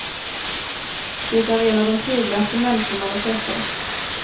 Det är en av de trevligaste människor man har träffat.